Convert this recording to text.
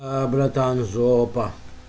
аа братан жопа